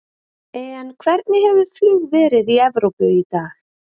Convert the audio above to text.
En hvernig hefur flug verið í Evrópu í dag?